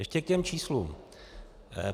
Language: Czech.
Ještě k těm číslům.